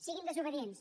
siguin desobedients